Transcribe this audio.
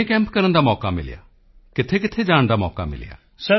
ਕਿੰਨੇ ਕੈਂਪ ਕਰਨ ਦਾ ਮੌਕਾ ਮਿਲਿਆ ਕਿੱਥੇਕਿੱਥੇ ਜਾਣ ਦਾ ਮੌਕਾ ਮਿਲਿਆ